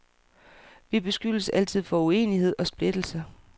Vi beskyldes altid for uenighed og splittelse.